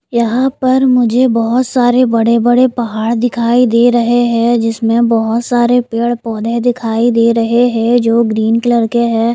यहां पर मुझे बहुत सारे बड़े-बड़े पहाड़ दिखाई दे रहे हैं जिसमें बहुत सारे पेड़-पौधे दिखाई दे रहे हैं जो ग्रीन कलर के हैं।